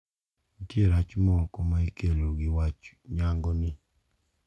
Nitie rach moko ma ikelo gi wach nyango ni.